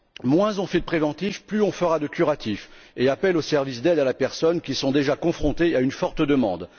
Moins on fait de préventif, plus on fera de curatif et plus on fera appel aux services d'aide à la personne, qui sont déjà confrontés à une forte demande.